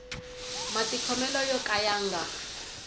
matikhomele yo ka ya nga